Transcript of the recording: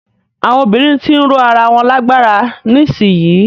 Àwọn obìnrin ti ń ró ara wọn lágbára nísìyí.